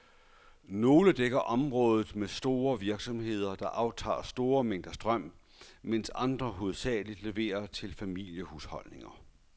Nogle dækker områder med store virksomheder, der aftager store mængder strøm, mens andre hovedsageligt leverer til familiehusholdninger.